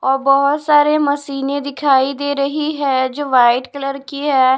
और बहुत सारे मशीनें दिखाई दे रही है जो वाइट कलर की है।